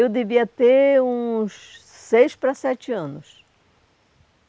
Eu devia ter uns seis para sete anos.